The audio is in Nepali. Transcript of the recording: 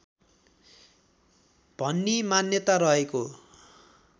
भन्ने मान्यता रहेको